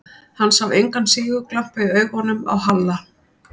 Hann sá engan sigurglampa í augunum á Halla.